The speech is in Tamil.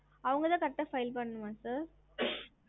ஹம்